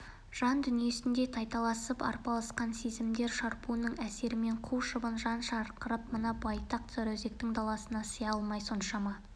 жан дүниесінде тайталасып арпалысқан сезімдер шарпуының әсерімен қу шыбын жан шырқырап мына байтақ сарыөзектің даласына сыя алмай соншама